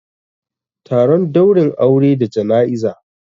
Taron daurin aure da jana'iza